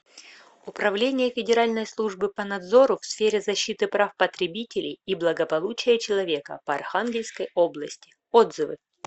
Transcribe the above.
управление федеральной службы по надзору в сфере защиты прав потребителей и благополучия человека по архангельской области отзывы